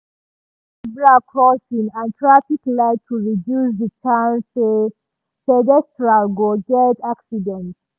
dem use zebra crossing and traffic light to reduce the chance say pedestrian go get accident.